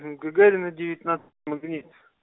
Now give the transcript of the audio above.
гагарина девятнадцать магнит